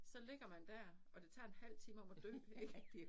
Så ligger man dér og det tager en halv time om at dø ik